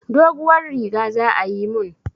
Doguwar riga za ayi mun.